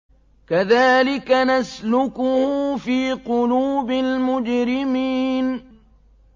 كَذَٰلِكَ نَسْلُكُهُ فِي قُلُوبِ الْمُجْرِمِينَ